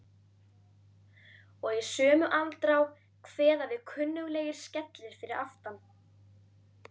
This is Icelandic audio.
Og í sömu andrá kveða við kunnuglegir skellir fyrir aftan.